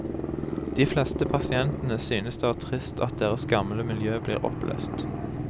De fleste pasientene synes det er trist at deres gamle miljø blir oppløst.